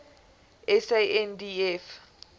sandf